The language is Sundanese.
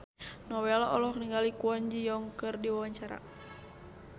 Nowela olohok ningali Kwon Ji Yong keur diwawancara